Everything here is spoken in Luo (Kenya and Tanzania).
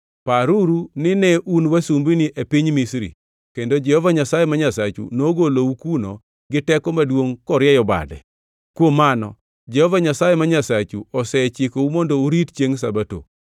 Paruru ni ne un wasumbini e piny Misri kendo Jehova Nyasaye ma Nyasachu nogolou kuno gi teko maduongʼ korieyo bade. Kuom mano Jehova Nyasaye ma Nyasachu osechikou mondo urit chiengʼ Sabato.